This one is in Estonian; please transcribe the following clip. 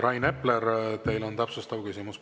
Rain Epler, teil on täpsustav küsimus.